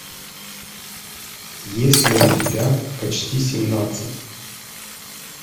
есть ли у тебя почти семнадцать